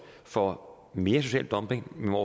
for mere social dumping men hvor